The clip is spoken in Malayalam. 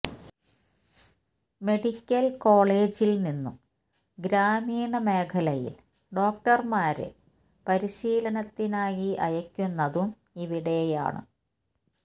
മെഡിക്കൽ കോളജ് ൽ നിന്നും ഗ്രാമീണ മേഖലയിൽ ഡോക്ടർമാരെ പരിശീലനത്തിനായി അയക്കുന്നതും ഇവിടെയാണ്